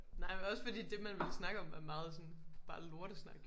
Nej men også fordi det man ville snakke om er meget sådan bare lortesnak